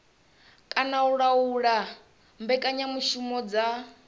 kana u laula mbekanyamushumo dza